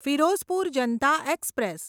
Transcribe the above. Firozpur Janata express